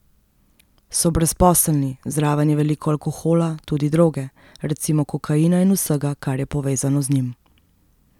So brezposelni, zraven je veliko alkohola, tudi droge, recimo kokaina in vsega, kar je povezano z njim.